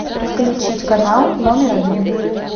включить канал номер один